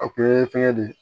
A kun ye fɛngɛ de ye